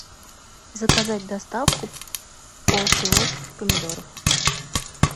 заказать доставку полкило помидоров